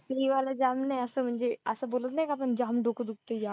ये वाला जाम नाही असं म्हणजे असं बोलत नाही का आपण जाम डोकं दुखतंय जाम.